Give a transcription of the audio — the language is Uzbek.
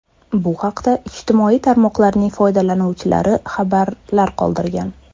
Bu haqda ijtimoiy tarmoqlarning foydalanuvchilari xabarlar qoldirgan.